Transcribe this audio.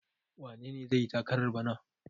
Wane ne zai yi takarar bana?